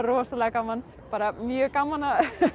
rosalega gaman bara mjög gaman að